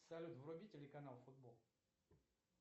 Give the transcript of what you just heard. салют вруби телеканал футбол